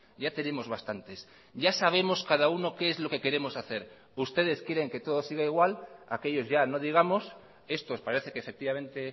ya tenemos bastantes ya sabemos cada uno qué es lo que queremos hacer ustedes quieren que todo siga igual aquellos ya no digamos estos parece que efectivamente